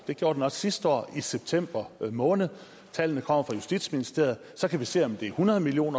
det gjorde den også sidste år i september måned tallene kommer fra justitsministeriet så kan vi se om det er hundrede million